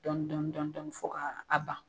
Dɔɔni dɔɔni dɔɔni dɔɔni fo ka a ban.